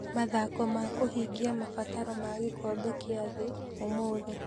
Mathako ma kũhingia mabataro ma gĩkombe kĩa thĩ ũmũthĩ.